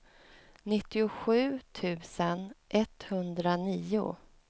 nittiosju tusen etthundranio